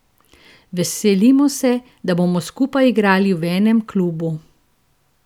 Veselimo se, da bomo skupaj igrali v enem klubu.